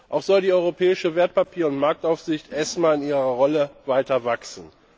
Auch soll die europäische Wertpapier und Marktaufsicht erst mal in ihrer Rolle weiter wachsen.